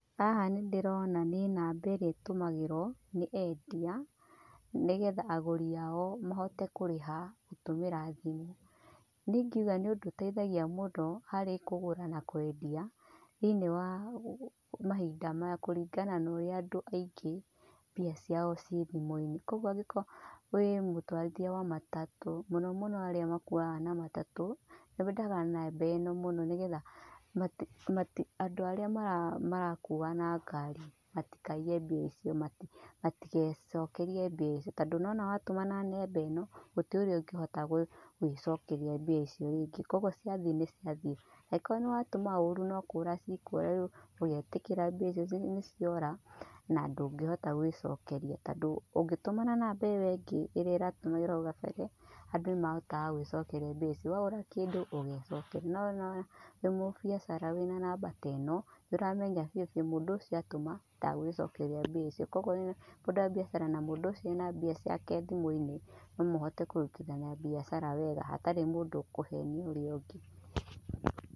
Haha nĩndĩrona nĩ namba ĩrĩa ĩtũmagĩrwo nĩ endia nĩ getha agũri aao mahote kũrĩha gũtũmĩra thimu. Nĩ ĩngiuga nĩ ũndũ ũteithagia mũndũ harĩ kũgũra na kwendia thĩini wa mahinda maya kũringana na ũrĩa andũ aingĩ mbia ciao cii thimũinĩ. Kũoguo angĩkorwo wĩ mũtwarithia wa matatũ, mũno mũno arĩa makuaga na matatũ, nĩ mendaga namba ĩno mũno nĩ getha andũ arĩa marakua na ngaarĩ matikaiye mbia icio. Matigecokerie mbia icio, tondũ nĩ wona watũma na namba ĩno gũtirĩ ũrĩa ũngĩhota gwĩcokeria mbia icio rĩngĩ Kũoguo ciathiĩ nĩ ciathiĩ. Angĩkorwo nĩ watũma ũũru no kũũra cikũũra rĩu ũgetĩkĩra mbia icio nĩciora, na ndũngĩhota gwĩcokeria tondũ ũngĩtuma na namba ĩyó ĩngĩ ĩrĩa ĩratumagĩrwo hau kabere, andũ nĩmarahotaga gwĩcokeria mbia icio, wagũra kĩndũ ũgecokeria. No ona wĩ mũbiacara wĩna namba ta ĩno, nĩũramenya biu biu mũndũ ũcio atũma, ndegwicokeria mbia icio. Kũoguo wĩna mbiacara na mũndũ ucio ena mbia ciake thimuinĩ, no mũhote kũrutithania biacara wega hatarĩ mũndũ ũkũhenia ũrĩa ũngĩ.